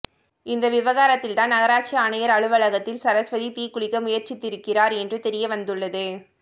இந்த விவகாரத்தில்தான் நகராட்சி ஆணையர் அலுவலகத்தில் சரஸ்வதி தீக்குளிக்க முயற்சித்திருக்கிறார் என்று தெரியவந்துள்ளது